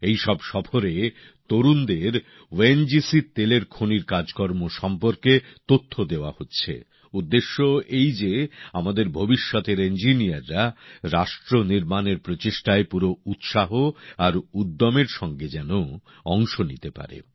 এই সব সফরে তরুণদের ও এন জি সির তেলের খনির কাজকর্ম সম্পর্কে তথ্য দেওয়া হচ্ছে উদ্দেশ্য এই যে আমাদের ভবিষ্যতের ইঞ্জিনীয়াররা রাষ্ট্রনির্মাণের প্রচেষ্টায় পুরো উৎসাহ আর উদ্যমের সঙ্গে যাতে অংশ নিতে পারে